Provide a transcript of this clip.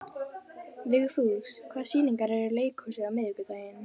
Vigfús, hvaða sýningar eru í leikhúsinu á miðvikudaginn?